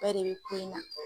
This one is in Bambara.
bɛɛ de bɛ ko in na.